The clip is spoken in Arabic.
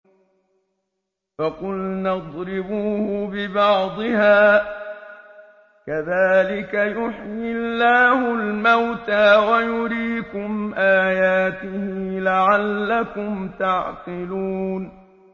فَقُلْنَا اضْرِبُوهُ بِبَعْضِهَا ۚ كَذَٰلِكَ يُحْيِي اللَّهُ الْمَوْتَىٰ وَيُرِيكُمْ آيَاتِهِ لَعَلَّكُمْ تَعْقِلُونَ